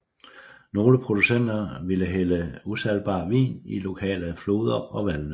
Nogle producenter ville hælde usalgbar vin i lokale floder og vandløb